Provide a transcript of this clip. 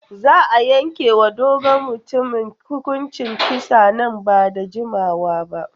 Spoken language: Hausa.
Za a yanke wa dogon mutumin hukuncin kisa nan ba da jimawa ba.